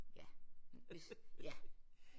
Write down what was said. Ja men hvis ja